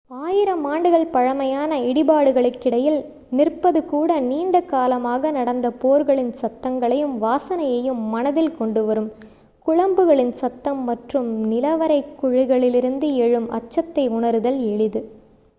ஆயிரம் ஆண்டுகள் பழமையான இடிபாடுகளுக்கிடையில் நிற்பது கூட நீண்ட காலமாக நடந்த போர்களின் சத்தங்களையும் வாசனையையும் மனதில் கொண்டு வரும் குளம்புகளின் சத்தம் மற்றும் நிலவறை குழிகளிலிருந்து எழும் அச்சத்தை உணருதல் எளிது